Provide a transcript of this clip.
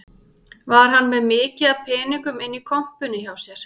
Var hann með mikið af peningum inni í kompunni hjá sér